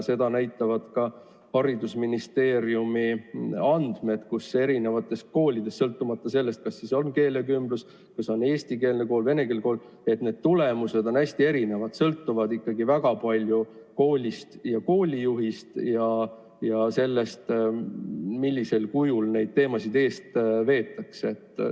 Seda näitavad ka haridusministeeriumi andmed, mille järgi eri koolides, sõltumata sellest, kas tegemist on keelekümbluse kooli, eestikeelse kooli või venekeelse kooliga, on tulemused hästi erinevad ja sõltuvad ikkagi väga palju koolist, koolijuhist ja sellest, millisel kujul neid teemasid veetakse.